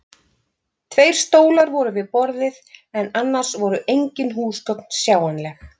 Tveir stólar voru við borðið en annars voru engin húsgögn sjáanleg.